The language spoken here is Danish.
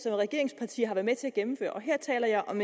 er regeringsparti har været med til at gennemføre og her taler jeg om